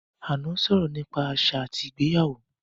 Ànọ́ sọ̀rọ̀ nípa àṣà àti ìgbéyàwó